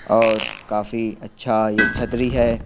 और काफी अच्छा यह छत्री है।